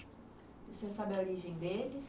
E o senhor sabe a origem deles?